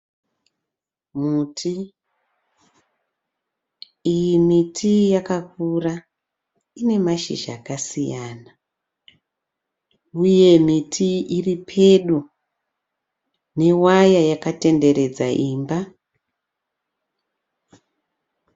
Muti. Iyi miti iyi yakakura ine mashizha akasiyana uye miti iri pedo newaya yakatenderedza imba